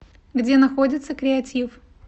где находится креатив